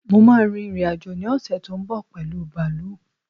Mo máà ń rin ìrìn-àjò ní ọ̀ṣè tó ń bọ̀ pẹ̀lu bààlú